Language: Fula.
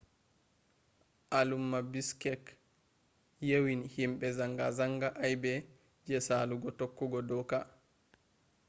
alumma bishkek yewini himbe zanga zanga aybe je salugo tokkugo doka